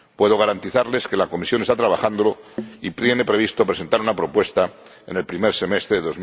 Puedo garantizarles que la Comisión está trabajando en ello y tiene previsto presentar una propuesta en el primer semestre de